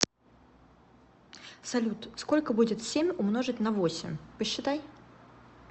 салют сколько будет семь умножить на восемь посчитай